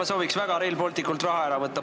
Ma sooviks väga Rail Balticult raha ära võtta.